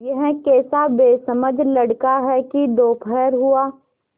यह कैसा बेसमझ लड़का है कि दोपहर हुआ